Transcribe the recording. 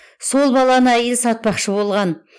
сол баланы әйел сатпақшы болған